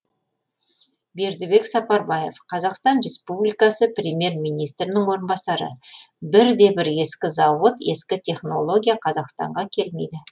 бердібек сапарбаев қазақстан республикасы премьер министрінің орынбасары бірде бір ескі зауыт ескі технология қазақстанға келмейді